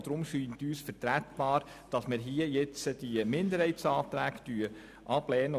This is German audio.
Deshalb scheint es uns vertretbar, hier diese Minderheitsanträge abzulehnen.